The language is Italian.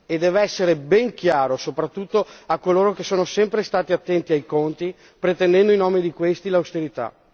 E deve essere ben chiaro soprattutto a coloro che sono sempre stati attenti ai conti, pretendendo in nome di questi l'austerità.